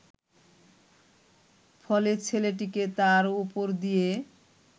ফলে ছেলেটিকে তার ওপর দিয়ে